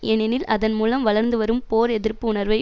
ஏனெனில் அதன் மூலம் வளர்ந்து வரும் போர்எதிர்ப்பு உணர்வை